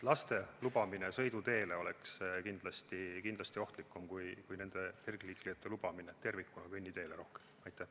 Laste lubamine sõiduteele oleks kindlasti ohtlikum kui kergliiklejate lubamine tervikuna rohkem kõnniteele.